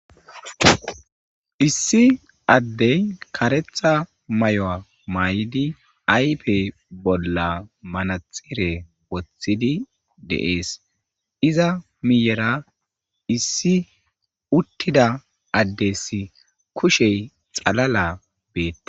Issi addee kareththa mayuwa mayidi ayfe bolla manatsire woththidi de7ees; iza miyyeraa issi uththida addessi kushe xalala beeththes.